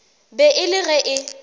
be e le ge e